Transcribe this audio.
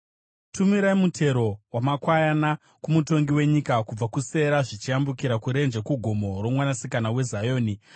Tumirai mutero wamakwayana kumutongi wenyika, kubva kuSera, zvichiyambukira kurenje, kugomo roMwanasikana weZioni.